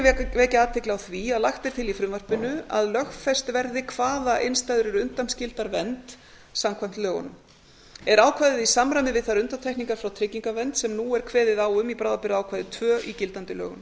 ég vekja athygli á því að lagt er til í frumvarpinu að lögfest verði hvaða innstæður eru undanskildar vernd samkvæmt lögunum er ákvæðið í samræmi við þær undantekningar frá tryggingavernd sem nú er kveðið á um í bráðabirgðaákvæði tvö í gildandi lögum